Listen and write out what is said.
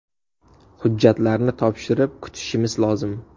Hujjatlarni topshirib, kutishimiz lozim.